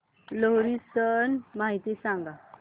लोहरी सण माहिती सांगा